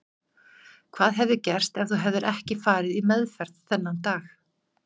Hvað hefði gerst ef þú hefðir ekki farið í meðferð þennan dag?